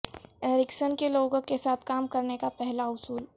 Erikson کے لوگوں کے ساتھ کام کرنے کا پہلا اصول